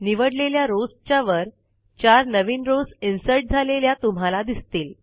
निवडलेल्या रॉव्स च्या वर चार नवीन रॉव्स इन्सर्ट झालेल्या तुम्हाला दिसतील